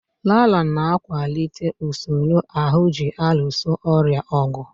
Laraa na-akwalite usoro ahụ ji alụso ọrịa ọgụ.